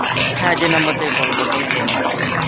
হ্যাঁ, যে number থেকে call করেছি আমি সে number থেকে।